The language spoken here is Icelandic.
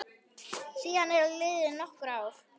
Síðan eru liðin nokkur ár.